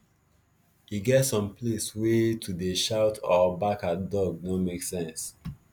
e get some place wey to dey shout or bark at dog no make sense